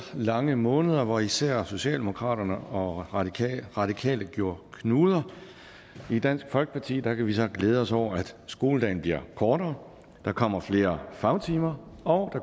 lange måneder hvor især socialdemokraterne og radikale radikale gjorde knuder i dansk folkeparti kan vi så glæde os over at skoledagen bliver kortere at der kommer flere fagtimer og